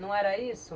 Não era isso?